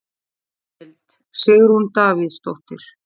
Heimild: Sigrún Davíðsdóttir.